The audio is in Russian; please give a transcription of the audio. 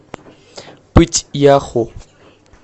пыть яху